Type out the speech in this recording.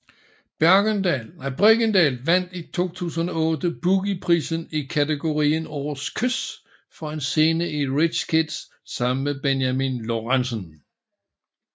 Bregendal vandt i 2008 Boogie prisen i kategorien Årets Kys for en scene i Rich Kids sammen med Benjami Lorentzen